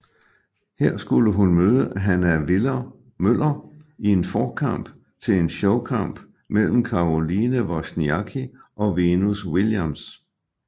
Her skulle hun møde Hannah Viller Møller i en forkamp til en showkamp mellem Caroline Wozniacki og Venus Williams